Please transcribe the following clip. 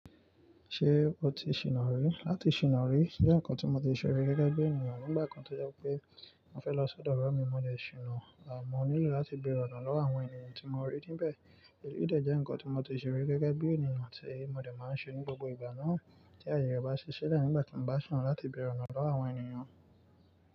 Ṣé o ti ṣìná rí? Átì ṣìná rí jẹ́ ǹkan tí mo ti ṣèrí gẹ́gẹ́ bí ènìyàn nígbà kan tó jẹ́ wipé mò fẹ́ lọ sọ́dọ̀ ọ̀rẹ́ mi, mó dẹ̀ ṣìná, à, mó nílò láti bèrè ọ̀nà lọ́wọ́ àwọn ènìyàn tí mo rí níbẹ̀. Èyí dẹ̀ jẹ́ ǹkan tí mo ti ṣèrí gẹ́gẹ́ bí ènìyàn tí mó dẹ̀ máa ń ṣe ní gbogbo ìgbà náà tí àyè re bá sisila nígbà tí mò bá sina láti bèrè ọ̀nà lọ́wọ́ àwọn ènìyàn.